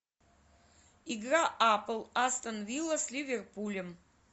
игра апл астон вилла с ливерпулем